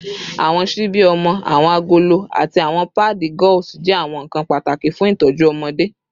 Awọn ṣibi ọmọ, awọn agolo, ati awọn paadi gauze jẹ awọn nkan pataki fun itọju ọmọde